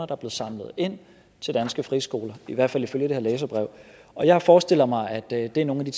der blev samlet ind til danske friskoler i hvert fald ifølge det her læserbrev og jeg forestiller mig at det er nogle af de